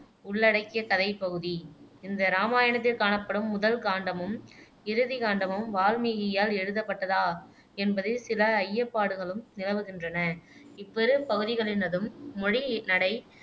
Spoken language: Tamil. உள்ளடக்கிய கதைப் பகுதி இந்த இராமாயணத்தில் காணப்படும் முதல் காண்டமும் இறுதிக் காண்டமும் வால்மீகியால் எழுதப்பட்டதா என்பதில் சில ஐயப்பாடுகளும் நிலவுகின்றன இவ்விரு பகுதிகளினதும் மொழி நடை